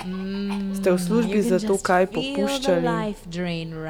Ste v službi zato kaj popuščali?